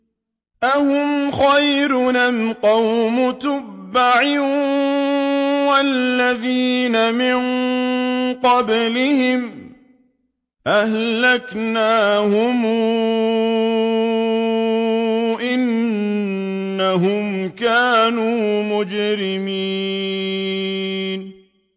أَهُمْ خَيْرٌ أَمْ قَوْمُ تُبَّعٍ وَالَّذِينَ مِن قَبْلِهِمْ ۚ أَهْلَكْنَاهُمْ ۖ إِنَّهُمْ كَانُوا مُجْرِمِينَ